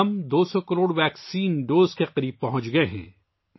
ہم ویکسین کی 200 کروڑ خوراک کے قریب پہنچ چکے ہیں